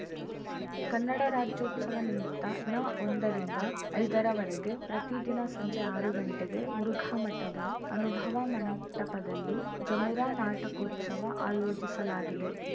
ಕನ್ನಡ ರಾಜ್ಯೋತ್ಸವ ನಿಮಿತ್ತ ನಒಂದರಿಂದ ಐದರ ವರೆಗೆ ಪ್ರತಿದಿನ ಸಂಜೆ ಆರು ಗಂಟೆಗೆ ಮುರುಘಾ ಮಠದ ಅನುಭವ ಮಂಟಪದಲ್ಲಿ ಜಮುರಾ ನಾಟಕೋತ್ಸವ ಆಯೋಜಿಸಲಾಗಿದೆ